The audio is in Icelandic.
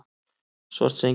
Svartsengi